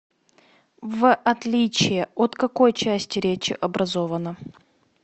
в отличие от какой части речи образовано